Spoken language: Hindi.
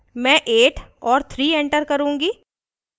मैं 8 और 3 enter करुँगी